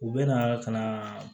U bɛ na ka na